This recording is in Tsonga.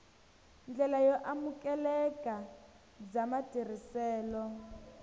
ndlela yo amukeleka bya matirhiselo